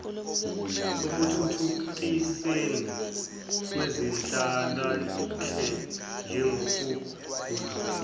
ekuthuthukisweni kwezenhlalonhle njengokugudluza